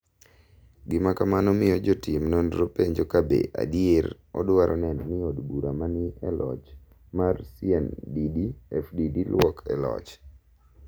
Gima kamano miyo jotim nonro penjo ka be adier odwaro neno ni od bura ma ni e locho mar CNDD-FDD lwok e loch.